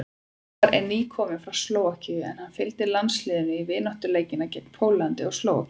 Elvar er nýkominn frá Slóvakíu en hann fylgdi landsliðinu í vináttuleikina gegn Póllandi og Slóvakíu.